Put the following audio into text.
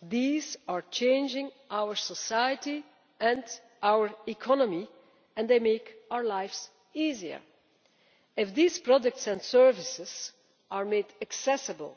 These are changing our society and our economy, and they make our lives easier. If these products and services are made accessible,